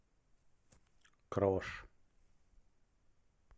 крош